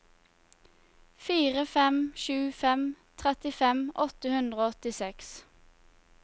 fire fem sju fem trettifem åtte hundre og åttiseks